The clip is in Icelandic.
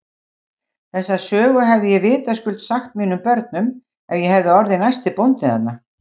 Þessa sögu hefði ég vitaskuld sagt mínum börnum ef ég hefði orðið næsti bóndi þarna.